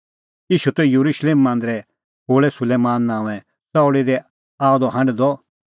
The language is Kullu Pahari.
ईशू त येरुशलेम मांदरे खोल़ै सुलैमान नांओंए च़ाऊल़ी दी लागअ द हांढदअ